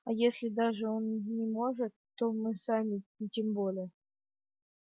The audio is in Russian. а если даже он не может то мы сами тем более